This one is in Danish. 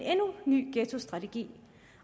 ny ghettostrategi